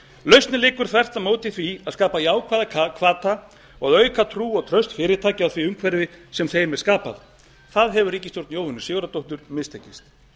lausnin liggur þvert á móti í því að skapa jákvæða hvata og auka trú og traust fyrirtækja á því umhverfi sem þeim er skapað það hefur ríkisstjórn jóhönnu sigurðardóttur mistekist